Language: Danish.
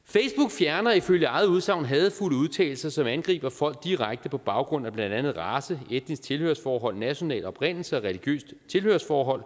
fjerner ifølge eget udsagn hadefulde udtalelser som angriber folk direkte på baggrund af blandt andet race etnisk tilhørsforhold national oprindelse og religiøst tilhørsforhold